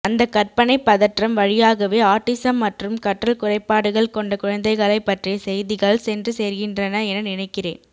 அந்தக் கற்பனைப் பதற்றம் வழியாகவே ஆட்டிஸம் மற்றும் கற்றல்குறைபாடுகள் கொண்ட குழந்தைகளைப் பற்றிய செய்திகள் சென்றுசேர்கின்றன என நினைக்கிறேன்